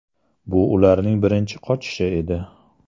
Bu ularning birinchi qochishi edi.